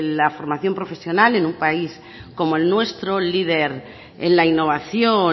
la formación profesional en un país como el nuestro líder en la innovación